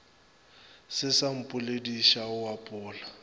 se sa mpolediša o apola